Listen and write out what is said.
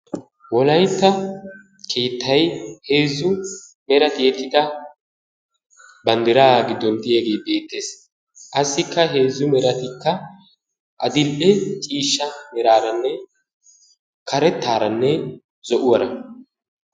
Wolaytta keetay heezzu mera tiyettida bandiraa giddon diyaagee beetees. Qassikka heezzu meratikka adil'e ciishsha meraranne karetaaranne zo'uwaara.